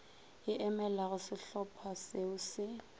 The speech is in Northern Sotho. e emelago šehlopha šeo še